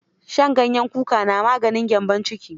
Shan ganyen kuka na maganin gyambon ciki.